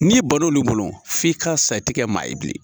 N'i banna olu bolo f'i ka sa i ti kɛ maa ye bilen.